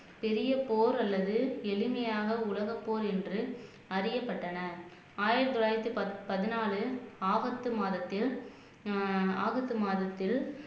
பெரிய போர் அல்லது எளிமையாக உலகப்போர் என்று அறியப்பட்டன ஆயிரத்தி தொள்ளாயிரத்தி பத் பதினாலில் ஆகஸ்ட் மாதத்தில் ஆஹ் ஆகஸ்ட் மாதத்தில்